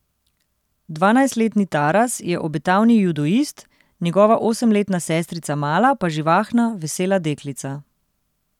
Dvanajstletni Taras je obetaven judoist, njegova osemletna sestrica Mala pa živahna, vesela deklica.